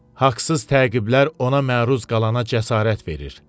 Haqsız təqiblər ona məruz qalana cəsarət verir.